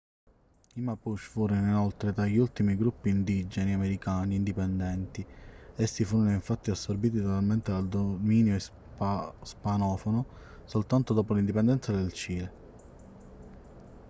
i mapuche furono inoltre tra gli ultimi gruppi indigeni americani indipendenti essi furono infatti assorbiti totalmente dal dominio ispanofono soltanto dopo l'indipendenza del cile